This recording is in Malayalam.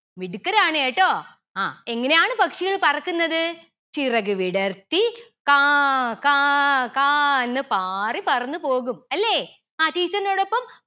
മിടുക്കരാണ് കേട്ടോ ആ എങ്ങനെയാണ് പക്ഷികൾ പറക്കുന്നത് ചിറകു വിടർത്തി കാ കാ കാന്ന് പാറി പറന്നു പോകും അല്ലെ ആ teacher ന്റോടൊപ്പം